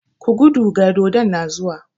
Ku gudu ga dodon nan zuwa!